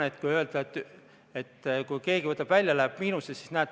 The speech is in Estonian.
Ei saa öelda, et kui keegi võtab fondist raha välja, siis fond läheb miinusesse.